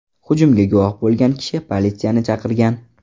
Hujumga guvoh bo‘lgan kishi politsiyani chaqirgan.